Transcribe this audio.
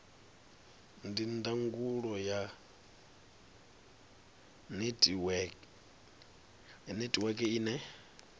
ndi ndangulo ya netiweke ine